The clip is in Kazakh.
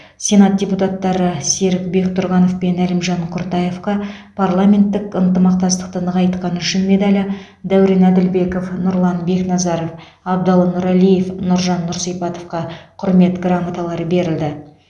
сенат депутаттары серік бектұрғанов пен әлімжан құртаевқа парламенттік ынтымақтастықты нығайтқаны үшін медалі дәурен әділбеков нұрлан бекназаров абдалы нұралиев нұржан нұрсипатовқа құрмет грамоталары берілді